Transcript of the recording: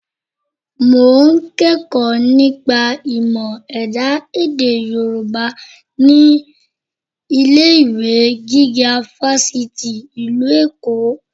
Mo ń kẹ́kọ̀ọ́ nípa ìmọ̀ ẹ̀dá èdè Yorùbá ní ilé-ìwé gíga Fáṣítì ìlú Èkó